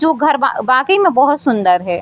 जो घर वा वाकई में बहुत सुन्दर है।